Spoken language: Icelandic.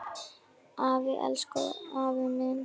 Afi, elsku afi minn.